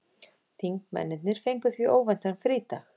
Þingmennirnir fengu því óvæntan frídag